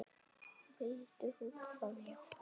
Vildi hún það já?